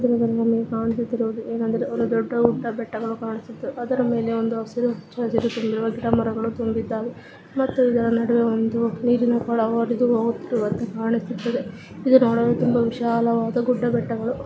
ಇನ್ನು ಕೆಲವು ಹೂವುಗಳನ್ನು ಚೀಲದಲ್ಲಿ ಇಟ್ಟಿದಾರೆ . ಇನ್ನ ಕೆಲವು ಹೂಗಳನ್ನು ಕ್ರೀಟ್ ನಲ್ಲಿ ಇಟ್ಟಿದಾರೆ .